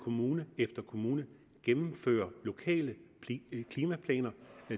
kommune efter kommune gennemfører lokale klimaplaner